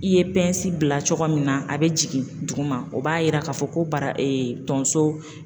I ye bila cogo min na a be jigin duguma o b'a yira k'a fɔ ko bara tonso